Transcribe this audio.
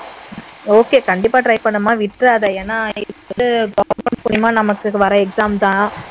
okay கண்டிப்பா try பண்ணுமா விட்றாத ஏன்னா நீ வந்து government மூலமா நமக்கு வர examதான்